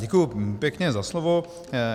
Děkuji pěkně za slovo.